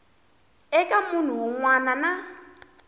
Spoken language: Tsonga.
eka munhu wun wana na